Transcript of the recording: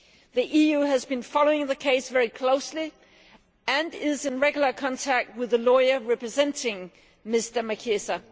The EU has been following this case very closely and is in regular contact with the lawyer representing Mr Machisa.